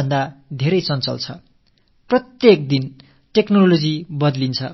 ஒவ்வொரு நாளும் தொழில்நுட்பம் மாறிக் கொண்டே வருகிறது